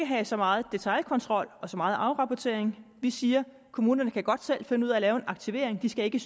have så meget detailkontrol og så meget afrapportering vi siger at kommunerne godt selv kan finde ud af at lave en aktivering de skal ikke